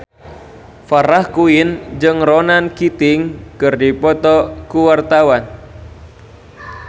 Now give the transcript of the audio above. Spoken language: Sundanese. Farah Quinn jeung Ronan Keating keur dipoto ku wartawan